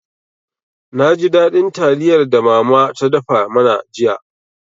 Na ji daɗin taliyar da mama ta dafa mana jiya.